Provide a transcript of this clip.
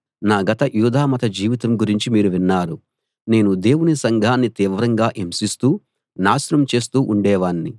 నా గత యూదామత జీవితం గురించి మీరు విన్నారు నేను దేవుని సంఘాన్ని తీవ్రంగా హింసిస్తూ నాశనం చేస్తూ ఉండేవాణ్ణి